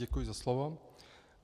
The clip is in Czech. Děkuji za slovo.